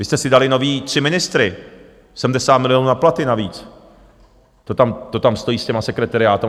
Vy jste si dali nové tři ministry, 70 milionů na platy navíc to tam stojí s těmi sekretariáty.